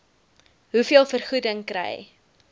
hoeveel vergoeding kry